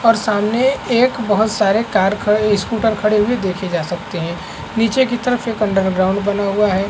और सामने एक बहुत सारे कार खड़े स्कूटर खड़े हुए देखे जा सकते है नीचे की तरफ एक अंडर ग्राउंड बना हुआ है।